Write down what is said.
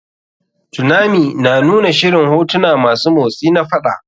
Tunami na nuna shirin hotuna masu motsi na faɗa.